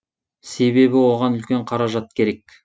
себебі оған үлкен қаражат керек